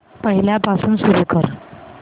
पहिल्यापासून सुरू कर